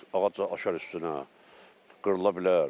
Ağac aşar üstünə, qırıla bilər.